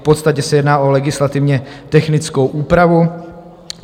V podstatě se jedná o legislativně technickou úpravu.